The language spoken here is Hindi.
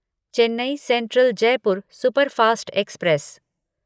Chennai central Jaipur superfast express